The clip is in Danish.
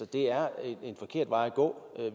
det er en forkert vej at gå